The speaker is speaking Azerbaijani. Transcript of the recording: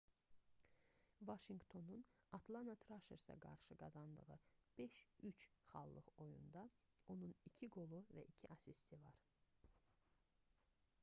vaşinqtonun atlana traşersə qarşı qazandığı 5:3 xallıq oyunda onun 2 qolu və 2 asisti var